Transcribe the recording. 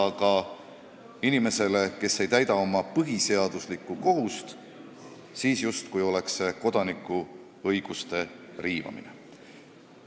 Aga kui inimene ei täida oma põhiseaduslikku kohust, siis on see justkui kodanikuõiguste riivamine.